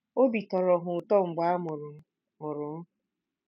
Obi tọrọ ha ụtọ mgbe a mụrụ m. mụrụ m.